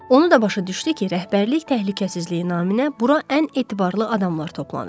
Onu da başa düşdü ki, rəhbərlik təhlükəsizliyi naminə bura ən etibarlı adamlar toplanıb.